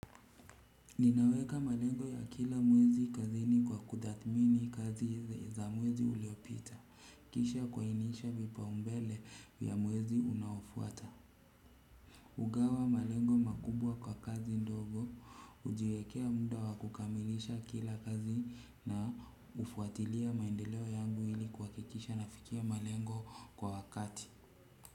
Ninaweka malengo ya kila mwezi kazini kwa kutadhimini kazi za mwezi uliopita. Kisha kwainisha vipao mbele ya mwezi unaofuata hugawa malengo makubwa kwa kazi ndogo hujiwekea muda wa kukamilisha kila kazi na hufuatilia maendeleo yangu ili kuhakikisha na fikia malengo kwa wakati.